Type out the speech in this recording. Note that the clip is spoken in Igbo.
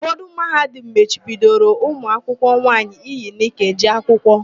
Ụfọdụ Mahadum machibidoro ụmụakwụkwọ nwaanyị iyi nịka eje akwụkwọ.